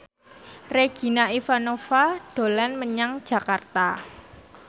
Regina Ivanova dolan menyang Jakarta